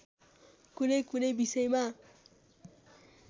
कुनैकुनै विषयमा